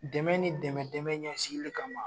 Dɛmɛ ni dɛmɛ dɛmɛ ɲɛsigili kama